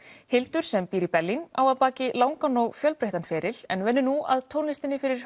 Hildur sem býr í Berlín á að baki langan og fjölbreyttan feril en vinnur nú að tónlistinni fyrir